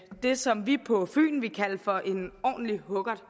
det som vi på fyn ville kalde for en ordentlig huggert